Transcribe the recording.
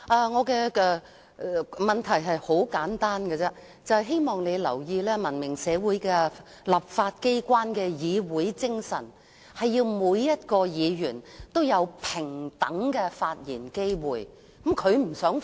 我的問題很簡單，就是希望你注意，文明社會立法機關的議會精神，是要讓每位議員也有平等機會發言。